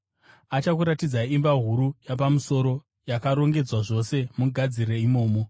Achakuratidzai imba huru yapamusoro, yakarongedzwa zvose. Mugadzire imomo.”